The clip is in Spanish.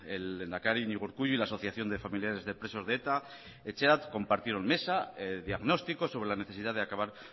el lehendakari iñigo urkullu y la asociación de familiares de presos de eta etxerat compartieron mesa diagnóstico sobre la necesidad de acabar